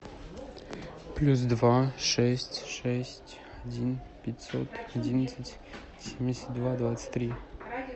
плюс два шесть шесть один пятьсот одиннадцать семьдесят два двадцать три